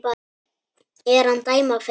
er hann dæma fer